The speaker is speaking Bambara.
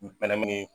Ɲɛnɛmini